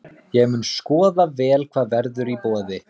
Ég mun skoða vel hvað verður í boði.